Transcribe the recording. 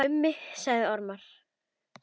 Mummi sagði ormar.